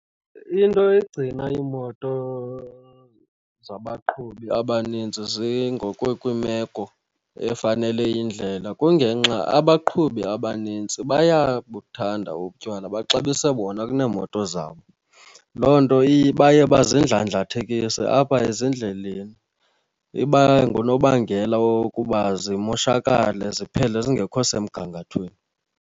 Into egcina iimoto zabaqhubi abanintsi zingekho kwiimeko efanele yindlela kungenxa abaqhubi abanintsi bayabuhanda utywala, baxabise bona kuneemoto zabo. Loo nto baye bazindlandlathekise apha ezindleleni. Iba ngunobangela wokuba zimoshakale ziphele zingekho semgangathweni.